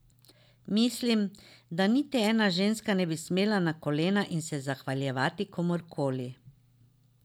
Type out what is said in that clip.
Mislim, da niti ena ženska ne bi smela na kolena in se zahvaljevati komurkoli.